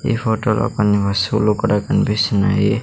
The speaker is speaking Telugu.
ఈ హోటల్లో కొన్ని వస్తువులు కూడా కనిపిస్తున్నాయి.